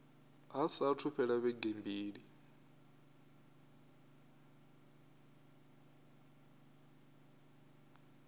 hu saathu fhela vhege mbili